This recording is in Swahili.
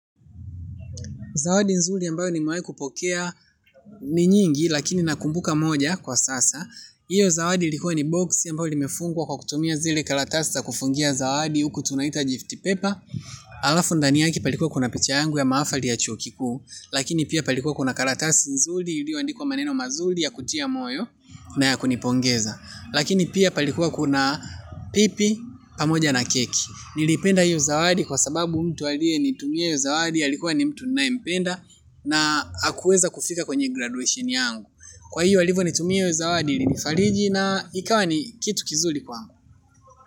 Zawadi nzuri ambayo nimewahi kupokea ni nyingi lakini nakumbuka moja kwa sasa. Hiyo zawadi ilikuwa ni boksi ambayo limefungwa kwa kutumia zile karatasi za kufungia zawadi huku tunaita gift paper. Alafu ndani yake palikuwa kuna picha yangu ya mahafali ya chuo kikuu. Lakini pia palikuwa kuna karatasi nzuri iliyoandikwa maneno mazuri ya kutia moyo na ya kunipongeza. Lakini pia palikuwa kuna pipi pamoja na keki. Niliipenda hiyo zawadi kwa sababu mtu aliyenitumia hiyo zawadi alikuwa ni mtu ninayempenda. Na hakuweza kufika kwenye graduation yangu. Kwa hivyo, alivyonitumia hiyo zawadi ilinifariji na ikawa ni kitu kizuri kwangu.